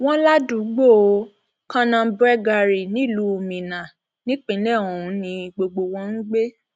wọn ládùúgbò kannambwegwari nílùú minna nípìnlẹ ọhún ni gbogbo wọn ń gbé